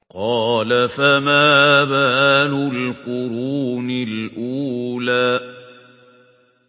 قَالَ فَمَا بَالُ الْقُرُونِ الْأُولَىٰ